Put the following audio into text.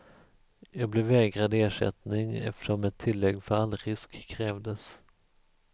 Jag blev vägrad ersättning, eftersom ett tillägg för allrisk krävdes.